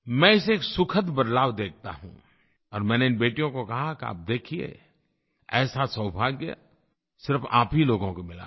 मैं इसे एक सुखद बदलाव देखता हूँ और मैंने इन बेटियों को कहा कि आप देखिए ऐसा सौभाग्य सिर्फ़ आप ही लोगों को मिला है